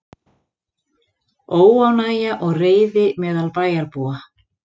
Óánægja og reiði meðal bæjarbúa